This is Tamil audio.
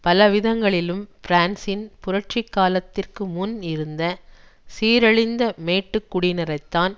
பலவிதங்களிலும் பிரான்சின் புரட்சி காலத்திற்குமுன் இருந்த சீரழிந்த மேட்டுக்குடியினரைத்தான்